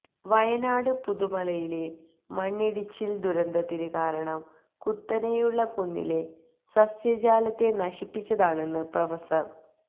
വയനാട് പുത്തുമലയിലെ മണ്ണിടിച്ചില് ദുരന്തത്തിന് കാരണം കുത്തനെയുള്ള കുന്നിലെ സസ്യജാലത്തെ നശിപ്പിച്ചതാണെന്ന് പ്രൊഫ